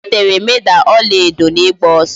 O ritere Meda ọla edo n'ịgba ọsọ